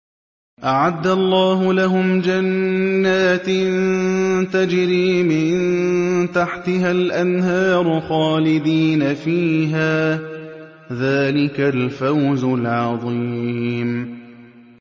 أَعَدَّ اللَّهُ لَهُمْ جَنَّاتٍ تَجْرِي مِن تَحْتِهَا الْأَنْهَارُ خَالِدِينَ فِيهَا ۚ ذَٰلِكَ الْفَوْزُ الْعَظِيمُ